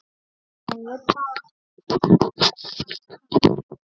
En ekki bara hann.